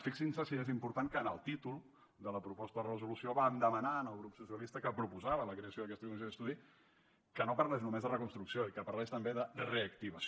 fixin se si és important que en el títol de la proposta de resolució vam demanar al grup socialista que proposava la creació d’aquesta comissió d’estudi que no parlés només de reconstrucció i que parlés també de reactivació